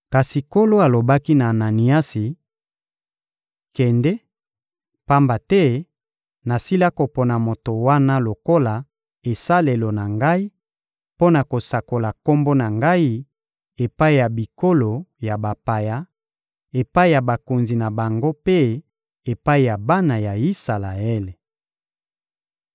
Kasi Nkolo alobaki na Ananiasi: — Kende, pamba te nasila kopona moto wana lokola esalelo na Ngai mpo na kosakola Kombo na Ngai epai ya bikolo ya bapaya, epai ya bakonzi na bango mpe epai ya bana ya Isalaele.